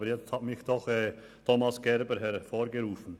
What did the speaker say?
Aber jetzt hat mich doch Thomas Gerber auf den Plan gerufen.